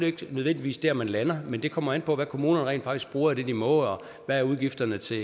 ikke nødvendigvis der man lander men det kommer an på hvad kommunerne rent faktisk bruger af det de må og hvad udgifterne er til